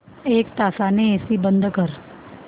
एक तासाने एसी बंद कर